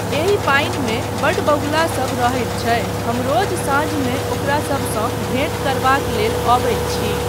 एहि पानिमे बड्ड बगुलासब रहैत छै, हम रोज साँझमे ओकरासबसँ भेट करबाक लेल अबैत छी।